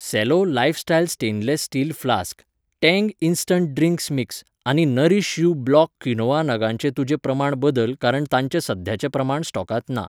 Cello lifestyle stainless steel flask , Tang instant drink mix आनी Nourish you black quinoa नगांचें तुजें प्रमाण बदल कारण तांचे सद्याचें प्रमाण स्टॉकांत ना.